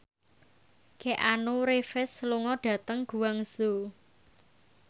Keanu Reeves lunga dhateng Guangzhou